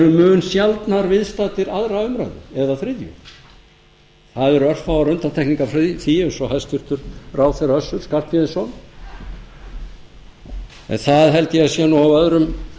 mun sjaldnar viðstaddir annarrar umræðu eða þriðja það eru afar undantekningar í því eins og hæstvirtur ráðherra össur skarphéðinsson en það held ég að sé nú af öðrum